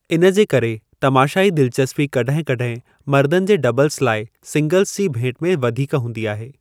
इन जे करे, तमाशाई दिलचस्पी कॾहिं कॾहिं मर्दनि जे डबल्ज़ लाइ सिंगल्ज़ जे भेंट में वधीक हूंदी आहे।